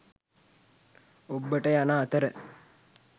ඔබ්බට යන අතර